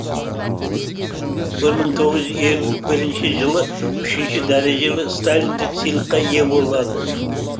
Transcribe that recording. бір мың тоғыз жүз елу бірінші жылы үшінші дәрежелі сталиндік сыйлыққа ие болады